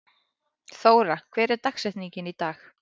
Þóra, hver er dagsetningin í dag?